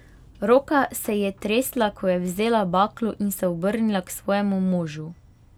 Roka se ji je tresla, ko je vzela baklo in se obrnila k svojemu možu.